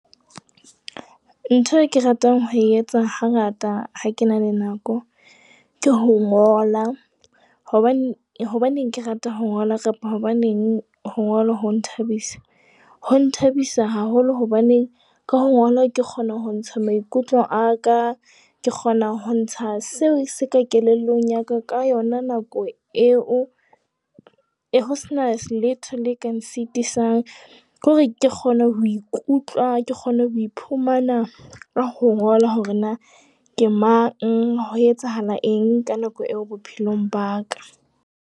Ntho e ke ratang ho etsa hangata ha ke na le nako, ke ho ngola. Hobaneng hobaneng ke rata ho ngola kapa hobaneng ho ngola ho nthabisa? Ho nthabisa haholo hobane ka ho ngola ke kgona ho ntsha maikutlo a ka. Ke kgona ho ntsha seo se ka kelellong ya ka ka yona nako eo ho sena se letho le ka nsitisang. Ke hore ke kgona ho ikutlwa ke kgone ho iphumana ka ho ngola hore na ke mang, ho etsahala eng ka nako eo bophelong ba ka.